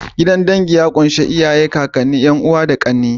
Gidan dangi ya ƙunshi ƙaƙane, iyaye,'Yan'uwa da ƙanne.